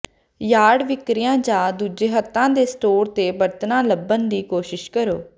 yard ਵਿਕਰੀਆਂ ਜਾਂ ਦੂਜੇ ਹੱਥਾਂ ਦੇ ਸਟੋਰ ਤੇ ਬਰਤਨਾ ਲੱਭਣ ਦੀ ਕੋਸ਼ਿਸ਼ ਕਰੋ